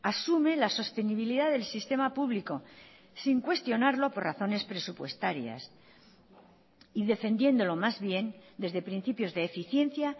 asume la sostenibilidad del sistema público sin cuestionarlo por razones presupuestarias y defendiéndolo más bien desde principios de eficiencia